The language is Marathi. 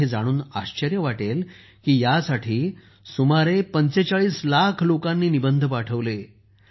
तुम्हाला हे जाणून आश्चर्य वाटेल की यासाठी सुमारे 45 लाख लोकांनी निबंध पाठवले